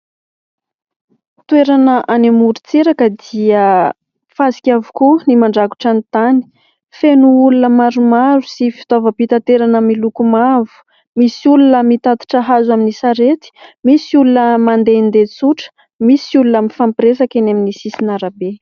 Toerana any amorontsiraka dia fasika avokoa ny mandrakotra ny tany. Feno olona maromaro sy fitaovam-pitaterana miloko mavo. Misy olona mitatitra hazo amin'ny sarety, misy olona mandehandeha tsotra, misy olona mifampiresaka eny amin'ny sisin'ny arabe.